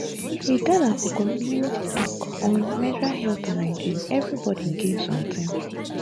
we gather for community talk on menstrual health and hygiene everybody gain something.